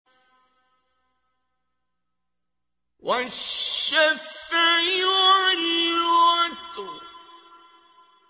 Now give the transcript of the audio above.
وَالشَّفْعِ وَالْوَتْرِ